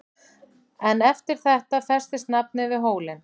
En eftir þetta festist nafnið við hólinn.